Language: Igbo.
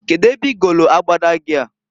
Kedu ebe igolu abada gi a?